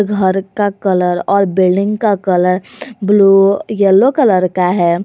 घर का कलर और बिल्डिंग का कलर ब्लू येलो कलर का है।